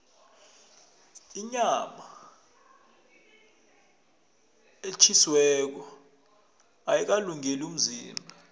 inyama etjhisiweko ayikalungeli umzimba